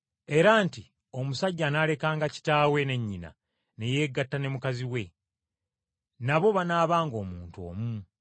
era nti, ‘Omusajja anaalekanga kitaawe ne nnyina, ne yeegatta ne mukazi we. Nabo banaabanga omuntu omu,